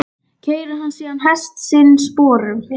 Keyrir hann síðan hest sinn sporum.